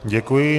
Děkuji.